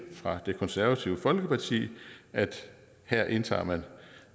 fra det konservative folkeparti at her indtager man